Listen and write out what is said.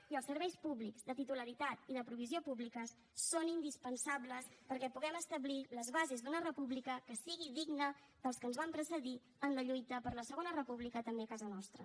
i els serveis públics de titularitat i de provisió públiques són indispensables perquè puguem establir les bases d’una república que sigui digna dels que ens van precedir en la lluita per la segona república també a casa nostra